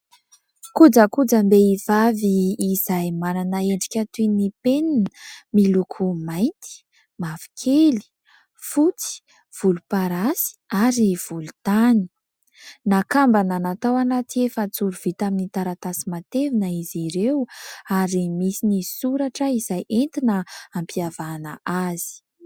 Kojakojam-behivavy izay manana endrika toy ny penina miloko mainty, mavokely, fotsy, volomparasy ary volontany. Nakambana natao anaty efa-joro vita amin'ny taratasy matevina izy ireo ary misy ny soratra izay entina ampiavahana azy.